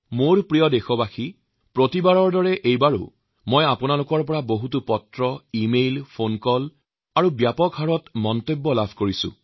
মোৰ শ্ৰদ্ধাৰ দেশবাসী প্ৰতিবাৰৰ দৰে এইবাৰো মই আপোনালোকৰ পৰা যথেষ্ট চিঠি ইমেইল ফোন কল আৰু মতামত লাভ কৰিছো